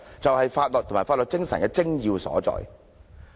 這就是法律及法律精神的精要所在。